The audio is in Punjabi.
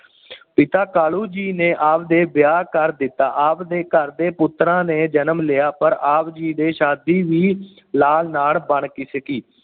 ਪਿਤਾ ਕਾਲੂ ਜੀ ਨੇ ਆਪ ਦੇ ਵਿਆਹ ਕਰ ਦਿੱਤਾ। ਆਪ ਦੇ ਘਰ ਦੇ ਪੁੱਤਰਾਂ ਨੇ ਜਨਮ ਲਿਆ ਪਰ ਆਪ ਜੀ ਦੇ ਸ਼ਾਦੀ ਵੀ ਹਾਲ ਨਾ ਬਣ ਸਕੀ।